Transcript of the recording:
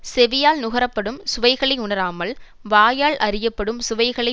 செவியால் நுகர படும் சுவைகளை உணராமல் வாயால் அறியப்படும் சுவைகளை